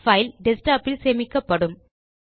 file desktop இல் சேமிக்கப்படும்